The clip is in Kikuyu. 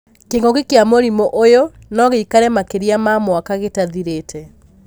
kĩng'ũki kĩa mũrimũ ũyũ no gĩikare makĩria ma mwaka gĩtathirĩte.